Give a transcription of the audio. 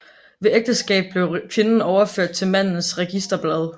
Ved ægteskab blev kvinden overført til mandens registerblad